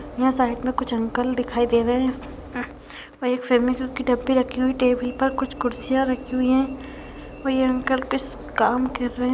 यहाँ साइड में कुछ अंकल दिखाई दे रहे हैं उ और एक रखी हुई है टेबल पर कुछ कुर्सियां रखी हुई हैं और ये अंकल कुछ काम कर रहे हैं।